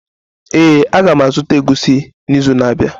Ee, a ga m azụta egusi n'izu na-abịa.